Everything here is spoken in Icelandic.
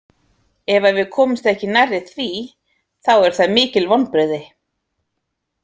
Ef að við komumst ekki nærri því, þá eru það mikil vonbrigði.